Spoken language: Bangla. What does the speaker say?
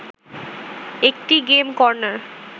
একটি গেম কর্নার